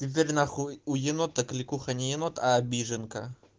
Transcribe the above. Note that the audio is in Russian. теперь нахуй у енота кликуха не енот а обиженка